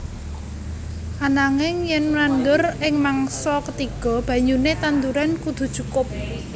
Ananging yen nandur ing mangsa ketiga banyune tanduran kudu cukup